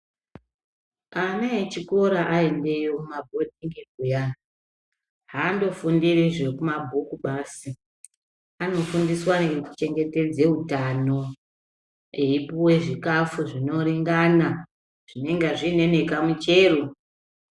Ana echikora aendeyo kumabhodhingi kuyani aandofundiri zvekumabhuku basi, anofundiswa nekuchengetedze utano eipuwe zvikafu zvinoringana zvinonga zviine nekamuchero.